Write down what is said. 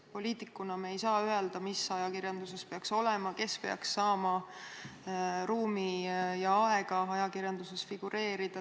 Poliitikuina me ei saa öelda, mis ajakirjanduses peaks olema, kes peaks saama ruumi ja aega ajakirjanduses figureerida.